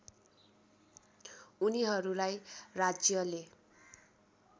उनीहरूलाई राज्यले